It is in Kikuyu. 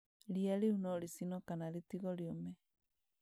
Ria rĩu no rĩcinwo kana ritigwo rĩume